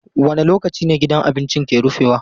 Wane lokaci ne gidan abincin ke rufewa?